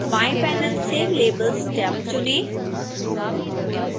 बाएं पैनल से labels tab चुनें